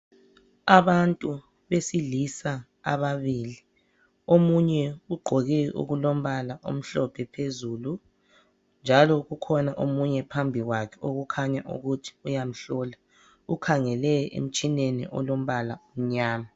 Abantu besilisa ababili omunye ugqoke okulombala omhlophe phezulu njalo kukhona omunye phambikwakhe okukhanya ukuthi uyamhlola ukhangele emtshineni olombala omnyama.